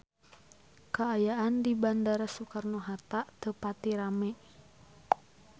Kaayaan di Bandara Soekarno Hatta teu pati rame